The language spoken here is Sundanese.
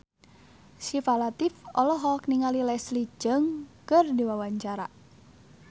Syifa Latief olohok ningali Leslie Cheung keur diwawancara